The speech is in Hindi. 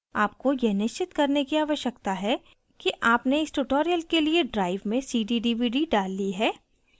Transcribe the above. आपको यह निश्चित करने की आवश्यकता है कि आपने इस tutorial के लिए drive में cd/dvd डाल ली है